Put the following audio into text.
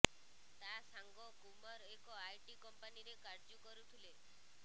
ତା ସାଙ୍ଗ କୁମାର ଏକ ଆଇଟି କମ୍ପାନୀରେ କାର୍ଯ୍ୟୁ କରୁଥିଲା